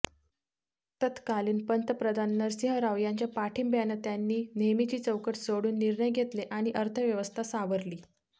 तत्कालीन पंतप्रधान नरसिंहराव यांच्या पाठिंब्यानं त्यांनी नेहमीची चौकट सोडून निर्णय घेतले आणि अर्थव्यवस्था सावरली